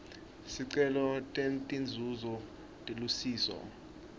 sicelo setinzuzo telusiso